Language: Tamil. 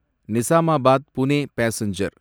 நிஸாமாபாத் புனே பாசெஞ்சர்